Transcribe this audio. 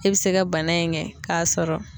E bɛ se ka bana in kɛ k'a sɔrɔ.